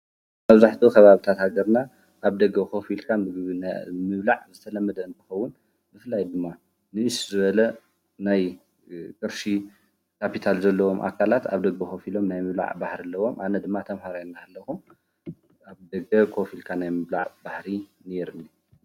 ኣብዛሕቶ ኸባብታትገርና ኣብ ደገ ኾፊልካን ብብና ሚብላዕ ዘተለመድ አንትኸውን ብፍላይ ድማ ንእስዙወለ ናይ ቕርሺ ካፑታል ዘለዎም ኣካላት ኣብ ደግ ኾፊሎም ናይ ምብላዕ ባሕሪለዎም ኣነ ድማ ተምሃራይና ለኹ ኣብ ደገ ኮፊልካ ናይ ምብላዕ ባሕሪ ነኔርኒ።